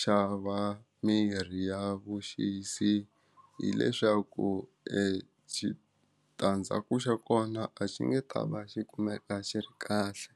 xava mirhi ya vuxisi hileswaku exitandzhaku xa kona a xi nge ta va xi kumeka xi ri kahle.